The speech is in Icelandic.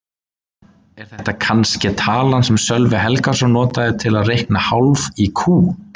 Er þetta kannske talan sem Sölvi Helgason notaði til að reikna kálf í kú?